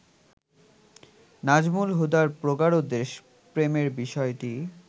নাজমুল হুদার প্রগাঢ় দেশপ্রেমের বিষয়টি